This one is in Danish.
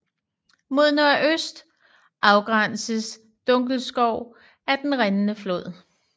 Mod nordøst afgrænses Dunkelskov af Den rindende flod